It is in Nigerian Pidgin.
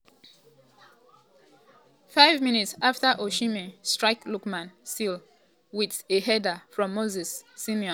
five minutes afta osimhen um strike lookman seal um di victory wit a header from moses simon cross.